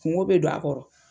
Kungo bɛ don a kɔrɔ